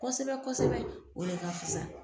Kosɛbɛ kosɛbɛ o de ka fisa.